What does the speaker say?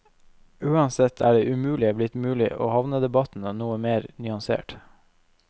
Uansett er det umulige blitt mulig og havnedebatten noe mer nyansert.